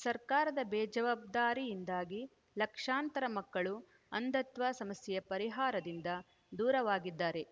ಸರ್ಕಾರದ ಬೇಜವಾಬ್ದಾರಿಯಿಂದಾಗಿ ಲಕ್ಷಾಂತರ ಮಕ್ಕಳು ಅಂಧತ್ವ ಸಮಸ್ಯೆಯ ಪರಿಹಾರದಿಂದ ದೂರವಾಗಿದ್ದಾರೆ